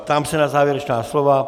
Ptám se na závěrečná slova.